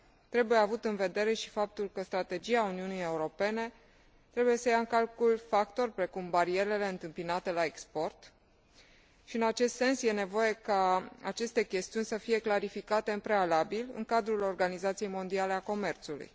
Trebuie avut în vedere și faptul că strategia Uniunii Europene trebuie să ia în calcul factori precum barierele întâmpinate la export și, în acest sens, e nevoie ca aceste chestiuni să fie clarificate în prealabil în cadrul Organizației Mondiale a Comerțului.